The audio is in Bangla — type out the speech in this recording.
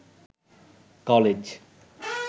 কলেজ